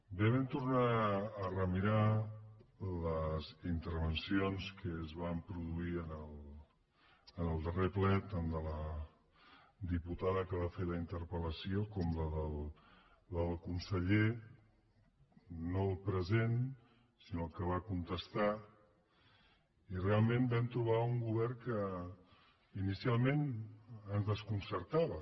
bé vam tornar a remirar les intervencions que es van produir en el darrer ple tant de la diputada que va fer la interpel·lació com la del conseller no el present sinó el que va contestar i realment vam trobar un govern que inicialment ens desconcertava